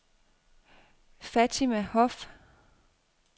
Fatima Hoff